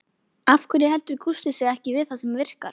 Af hverju heldur Gústi sig ekki við það sem virkar?